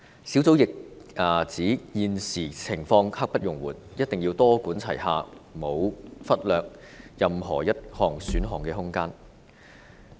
小組亦指現時情況刻不容緩，一定要多管齊下，沒有忽略任何一項選項的空間。